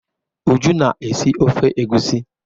Uju na-esi ofe egwusi.